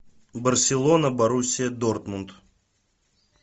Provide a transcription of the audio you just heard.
барселона боруссия дортмунд